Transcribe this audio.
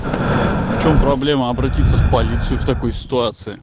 в чем проблема обратиться в полицию в такой ситуации